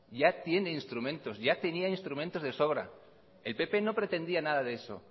ya tiene instrumentos ya tenía instrumentos de sobra el pp no pretendía nada de eso